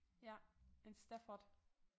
Ja en Stafford